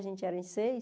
A gente era em seis.